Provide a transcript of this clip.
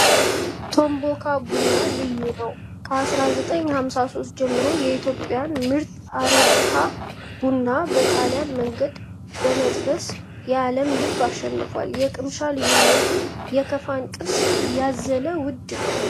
ቶሞካ ቡና ልዩ ነው! ከ1953 ጀምሮ የኢትዮጵያን ምርጥ አረብካ ቡና በጣሊያን መንገድ በመጠበስ የአለምን ልብ አሸንፏል። የቅምሻ ልዩነቱ የካፋን ቅርስ ያዘለ ውድ ነው።